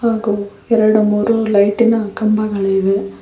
ಹಾಗು ಎರಡು ಮೂರು ಲೈಟಿನ ಕಂಬಗಳಿವೆ.